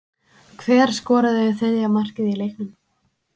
Hver skoraði þriðja markið í leiknum?